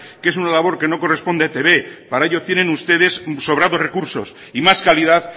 que es una labor que no corresponde a etb para ello tienen sobrados recursos y más calidad